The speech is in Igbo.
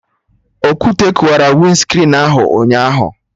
Okwute kụwara winscrin ahụ ụnyaahụ